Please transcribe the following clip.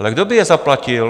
Ale kdo by je zaplatil?